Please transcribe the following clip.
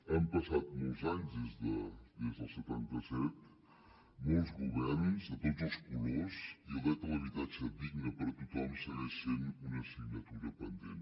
han passat molts anys des del setanta set molts governs de tots els colors i el dret a l’habitatge digne per a tothom segueix sent una assignatura pendent